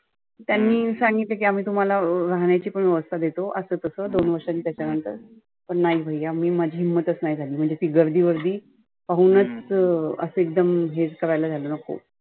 त्यांनी सांगितले की आम्ही तुम्हाला राहण्याची पण व्यवस्था देतो असं तसं दोन वर्षानी त्याच्यानंतर पण नाही भैया मी माझी हिम्मतच नाही झाली. म्हणजे ती गर्दी वर्दी पाहुनच अं असं एकदम हे करायला झालं नको.